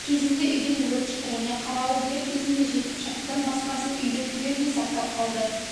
кезінде үйден өрт шықты және қарауыл дер кезінде жетіп шатырдан басқасын үйді түгелдей сақтап қалды